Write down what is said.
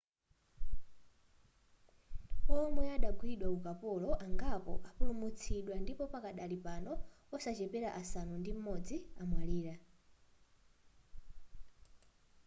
womwe adagwidwa ukapolo angapo apulumutsidwa ndipo pakadali pano osaposera asanu ndi m'modzi amwalira